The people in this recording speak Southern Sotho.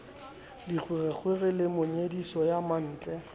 dikgwerekgwere le monyediso ya mantle